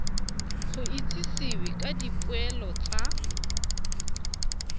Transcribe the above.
go itsisiwe ka dipoelo tsa